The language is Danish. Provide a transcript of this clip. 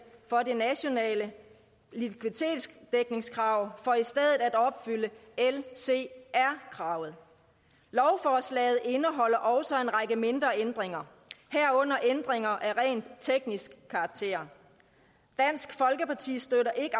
for det nationale likviditetsdækningskrav for i stedet at opfylde lcr kravet lovforslaget indeholder også en række mindre ændringer herunder ændringer af rent teknisk karakter dansk folkeparti støtter ikke